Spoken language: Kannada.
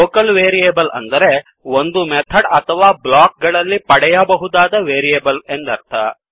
ಲೋಕಲ್ ವೇರಿಯೇಬಲ್ ಅಂದರೆ ಒಂದು ಮೆಥಡ್ ಅಥವಾ ಬ್ಲೋಕ್ ಗಳಲ್ಲಿ ಪಡೆಯಬಹುದಾದ ವೇರಿಯೇಬಲ್ ಎಂದರ್ಥ